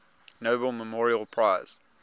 nobel memorial prize